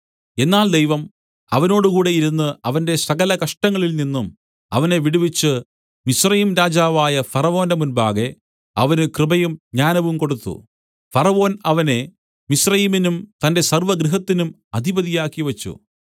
എന്നാൽ ദൈവം അവനോടുകൂടെ ഇരുന്ന് അവന്റെ സകലകഷ്ടങ്ങളിൽനിന്നും അവനെ വിടുവിച്ച് മിസ്രയീംരാജാവായ ഫറവോന്റെ മുമ്പാകെ അവന് കൃപയും ജ്ഞാനവും കൊടുത്തു ഫറവോൻ അവനെ മിസ്രയീമിനും തന്റെ സർവ്വഗൃഹത്തിനും അധിപതിയാക്കി വച്ചു